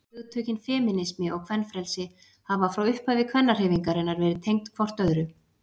hugtökin femínismi og kvenfrelsi hafa frá upphafi kvennahreyfingarinnar verið tengd hvort öðru